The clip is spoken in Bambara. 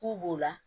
K'u b'o la